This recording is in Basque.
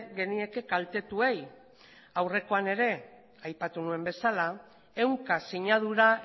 genieke kaltetuei aurrekoan ere aipatu nuen bezala ehunka sinadura